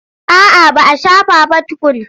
A'a ba a shafa ba tukun.